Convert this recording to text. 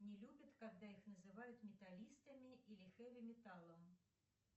не любят когда их называют металлистами или хеви металом